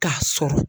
K'a sɔrɔ